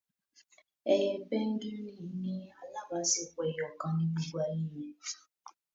Ẹyẹ pẹ́ngúìnì ní alábáṣepọ ẹyọkan ní gbógbó àyè re.